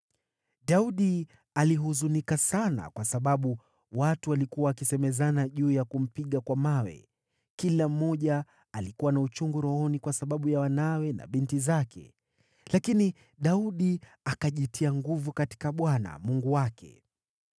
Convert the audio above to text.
Daudi alihuzunika sana kwa sababu watu walikuwa wakisemezana juu ya kumpiga kwa mawe. Kila mmoja alikuwa na uchungu rohoni kwa sababu ya wanawe na binti zake. Lakini Daudi akajitia nguvu katika Bwana , Mungu wake.